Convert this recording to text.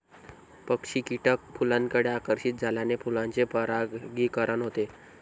पक्षी, कीटक फुलांकडे आकर्षित झाल्याने फुलांचे परागीकरण होते.